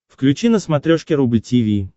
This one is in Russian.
включи на смотрешке рубль ти ви